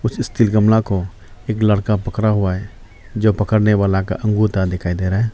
इस स्टील गमला को एक लड़का पकड़ा हुआ है जो पकड़ने वाला का अंगूठा दिखाई दे रहा है।